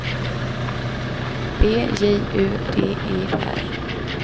B J U D E R